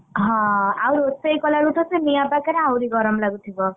ହଁ ଆଉ ରୋଷେଇ କଲାବେଳକୁ ତ ସେ ନିଆଁ ପାଖରେ ଆହୁରି ଗରମ ଲାଗୁଥିବ?